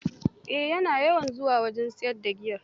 Ai ya na yawan zuwa wajen siyar da giya